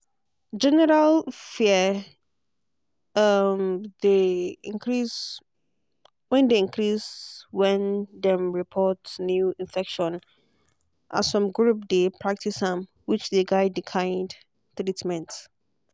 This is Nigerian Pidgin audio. general fear um dey increase when dey increase when dem report new infection as some group dey practice am which dey guide the kind treatment.